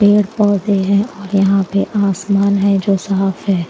पेड़ पौधे हैं और यहां पे आसमान है जो साफ है।